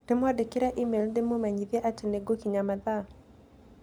Ndĩmwandĩkĩre e-mail ndĩmũmenyithie atĩ nĩ ngũkinyia mathaa